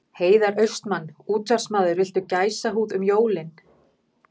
Heiðar Austmann, útvarpsmaður Viltu gæsahúð um jólin?